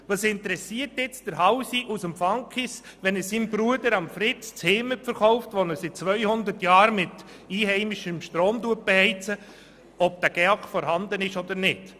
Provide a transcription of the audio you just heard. Aber was interessiert jetzt den Housi aus Fankhaus, wenn er seinem Bruder, dem Fritz, sein «Heimet» verkauft, das seit 200 Jahren mit einheimischem Strom beheizt wird, ob ein GEAK vorhanden ist oder nicht?